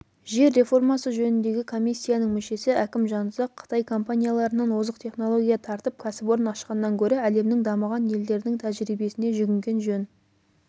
жер реформасы жөніндегі комиссияның мүшесі әкім жанұзақ қытай компанияларынан озық технология тартып кәсіпорын ашқаннан гөрі әлемнің дамыған елдерінің тәжірибесіне жүгінген жөн